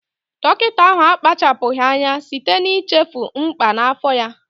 Dọkịta ahụ akpachapụghị anya site n'ichefu mkpà n'afọ ya